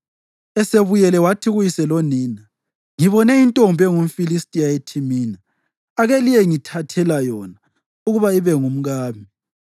Esebuyele, wathi kuyise lonina, “Ngibone intombi engumFilistiya eThimina; ake liyengithathela yona ukuba ibe ngumkami.”